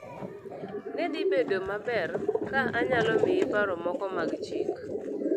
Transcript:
Ne dhi bedo maber ka anyalo miyi paro moko mag chik